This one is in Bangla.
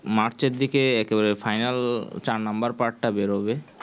March এর দিকে একেবারে final চার number টা বেরোবে